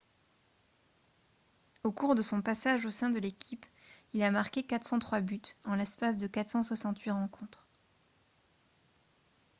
au cours de son passage au sein de l'équipe il a marqué 403 buts en l'espace de 468 rencontres